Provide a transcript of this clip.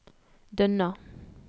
Dønna